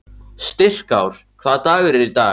Styrkár, hvaða dagur er í dag?